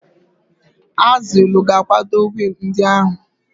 Azilu ga-akwado wiil ndị ahụ.